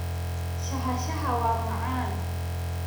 Shaaha shaaha waa macaan.